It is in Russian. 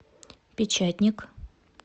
печатник